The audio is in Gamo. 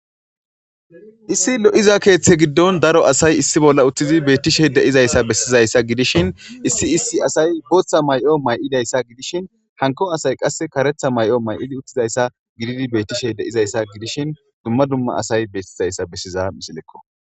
Issi lo'iza keethe giddon daro asay issi bolla uttidi beetishe de'izayssa besiizayssa gidishin issi issi asay bootha may'o may'idayssa gidishin hankko asay qasse karetha ma'yo may'idi uttidayssa gididi beetishe de'izayssa gidishin dumma dumma asay beetizayssa besizara misileko.